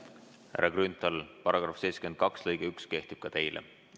Härra Grünthal, § 72 lõige 1 kehtib ka teile.